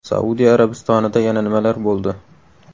Saudiya Arabistonida yana nimalar bo‘ldi?